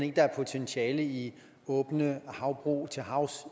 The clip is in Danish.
at der er potentiale i åbne havbrug til havs